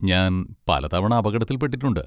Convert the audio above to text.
ഞാൻ പലതവണ അപകടത്തിൽ പെട്ടിട്ടുണ്ട്.